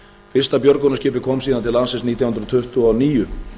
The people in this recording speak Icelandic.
fyrsta björgunarskipið kom síðan til landsins nítján hundruð tuttugu og níu